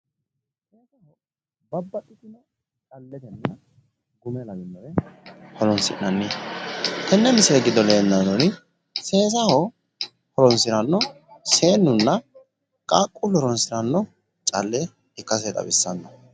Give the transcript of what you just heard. babaxxitino horonsinnannireeti tenne giddo leellishshanori seesaho horonsi'nani seennunna qaaquullu horonsiranno calle lawinori leellanno.